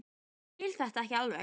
Ég skil þetta ekki alveg.